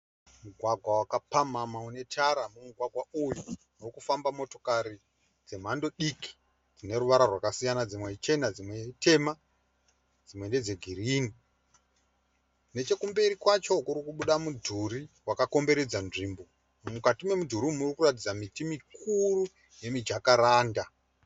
Mugwagwa wakapamhamha unetatara. Mumugwagwa uyu urikufamba motokari dzemhando diki dzineruvara rwakasiyana dzimwe ichenadzimwe itema dzimwe ndedzegirinhi. Nechekumberi kwacho kurikubuda mudhuri wakakomberedza nzvimbo .Mukati memudhuri umu murikuratidza miti mikuru yemujakaranda.